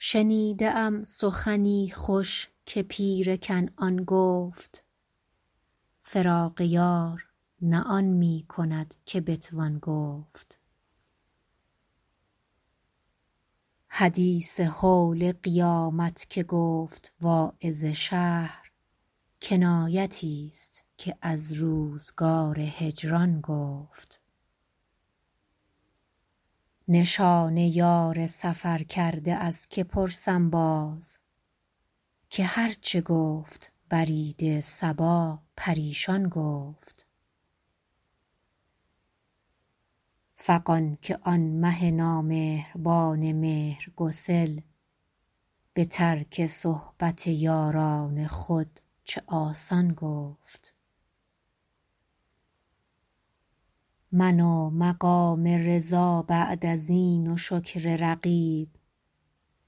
شنیده ام سخنی خوش که پیر کنعان گفت فراق یار نه آن می کند که بتوان گفت حدیث هول قیامت که گفت واعظ شهر کنایتی ست که از روزگار هجران گفت نشان یار سفرکرده از که پرسم باز که هر چه گفت برید صبا پریشان گفت فغان که آن مه نامهربان مهرگسل به ترک صحبت یاران خود چه آسان گفت من و مقام رضا بعد از این و شکر رقیب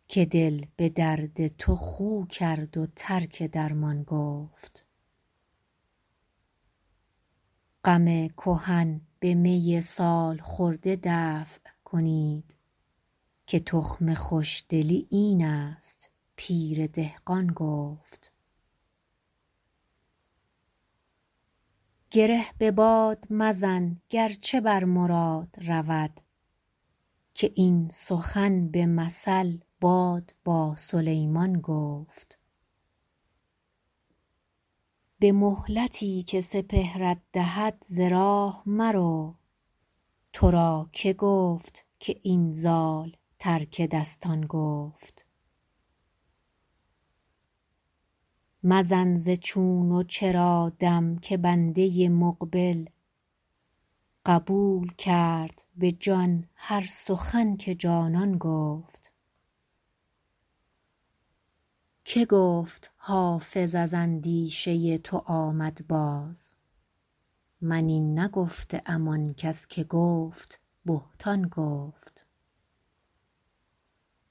که دل به درد تو خو کرد و ترک درمان گفت غم کهن به می سال خورده دفع کنید که تخم خوش دلی این است پیر دهقان گفت گره به باد مزن گر چه بر مراد رود که این سخن به مثل باد با سلیمان گفت به مهلتی که سپهرت دهد ز راه مرو تو را که گفت که این زال ترک دستان گفت مزن ز چون و چرا دم که بنده مقبل قبول کرد به جان هر سخن که جانان گفت که گفت حافظ از اندیشه تو آمد باز من این نگفته ام آن کس که گفت بهتان گفت